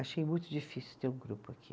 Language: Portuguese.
Achei muito difícil ter um grupo aqui.